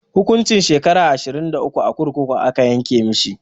Hukuncin shekara ashirin a kurkuku aka yanke mishi.